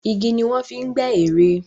Igi ni wọ́n fi gbẹ́ ère.